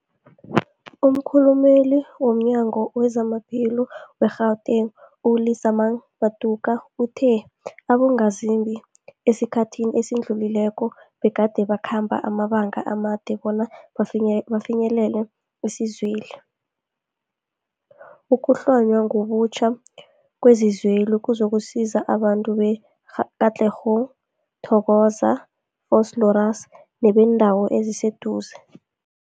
Umkhulumeli womNyango weZamaphilo we-Gauteng, u-Lesemang Matuka uthe abongazimbi esikhathini esidlulileko begade bakhamba amabanga amade bona bafinye bafinyelele isizweli. Ukuhlonywa ngobutjha kwezikweli kuzokusiza abantu be-Katlehong, Thokoza, Vosloorus nebeendawo eziseduze.